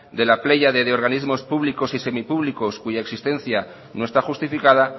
de la de organismos públicos y semipúblicos cuya existencia no está justificada